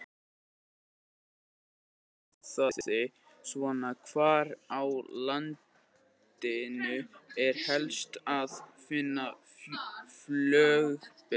Spurningin í heild sinni hljóðaði svona: Hvar á landinu er helst að finna flöguberg?